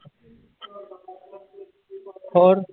ਹੋਰ।